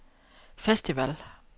festival